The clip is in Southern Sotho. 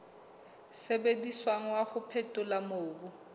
sebediswang wa ho phethola mobu